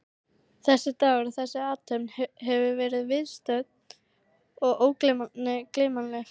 Þessi dagur og þessi athöfn verður viðstöddum ógleymanleg.